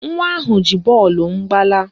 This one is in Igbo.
Nwa ahụ ji bọọlụ m gbalaa